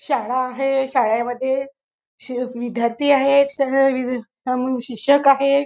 शाळा आहे शाळेमध्ये शेफ विद्यार्थी आहे शिक्षक आहे.